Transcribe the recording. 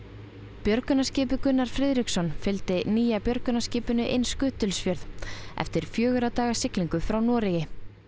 björgunarskipið Gunnar Friðriksson fylgdi nýja björgunarskipinu inn Ísafjörð eftir fjögurra daga siglingu frá Noregi